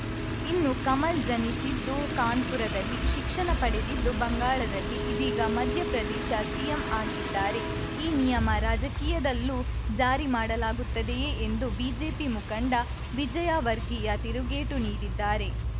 ಇನ್ನು ಕಮಲ್‌ ಜನಿಸಿದ್ದು ಕಾನ್ಪುರದಲ್ಲಿ ಶಿಕ್ಷಣ ಪಡೆದಿದ್ದು ಬಂಗಾಳದಲ್ಲಿ ಇದೀಗ ಮಧ್ಯಪ್ರದೇಶ ಸಿಎಂ ಆಗಿದ್ದಾರೆ ಈ ನಿಯಮ ರಾಜಕೀಯದಲ್ಲಿಯೂ ಜಾರಿ ಮಾಡಲಾಗುತ್ತದೆಯೇ ಎಂದು ಬಿಜೆಪಿ ಮುಖಂಡ ವಿಜಯವರ್ಗಿಯಾ ತಿರುಗೇಟು ನೀಡಿದ್ದಾರೆ